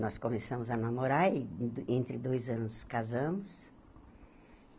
Nós começamos a namorar e, en entre dois anos, casamos.